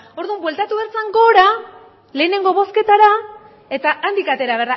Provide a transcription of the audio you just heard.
orduan bueltatu behar zen gora lehenengo bozketara eta handik atera